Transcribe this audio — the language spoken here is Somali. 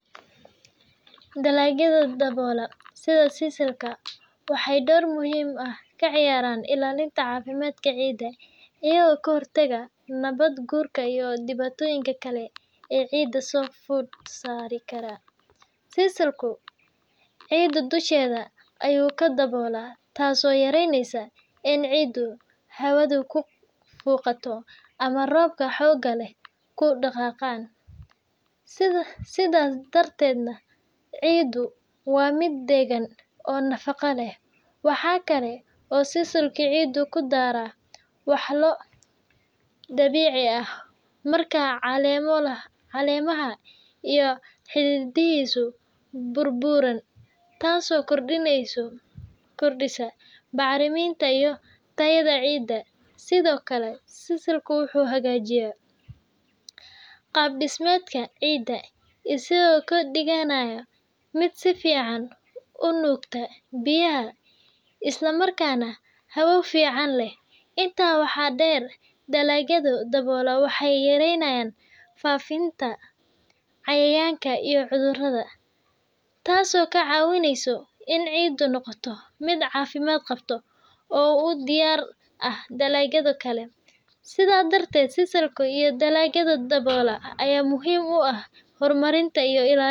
Dalagyada daboola sida sasalka waxay door muhiim ah ka ciyaaraan ilaalinta caafimaadka ciidda iyagoo ka hortaga nabaad-guurka iyo dhibaatooyinka kale ee ciidda soo fod saari kara. Sisalku ciidda dusheeda ayuu ku daboolaa, taasoo yaraynaysa in ciiddu hawada ku fuuqato ama roobabka xoogga leh ku dhaqaaqaan, sidaas darteedna ciiddu waa mid deggan oo nafaqo leh. Waxa kale oo sisalku ciidda ku daraa walxo dabiici ah marka caleemaha iyo xididdadiisu burburaan, taas oo kordhisa bacriminta iyo tayada ciidda. Sidoo kale, sisalku wuxuu hagaajiyaa qaab-dhismeedka ciidda, isagoo ka dhigaya mid si fiican u nuugta biyaha isla markaana hawo fiican leh. Intaa waxaa dheer, dalagyadan daboola waxay yareeyaan faafitaanka cayayaanka iyo cudurrada, taasoo ka caawisa in ciiddu noqoto mid caafimaad qabta oo u diyaar ah dalagyada kale. Sidaa darteed, sisalka iyo dalagyada daboola ayaa muhiim u ah horumarinta iyo ilaalinta beeralayda.